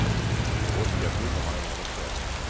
Och rostiga tunnor har jag målat förr.